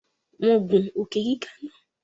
Wọn ń gun Òkè-gíga náà